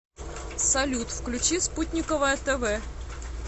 салют включи спутниковое тэ вэ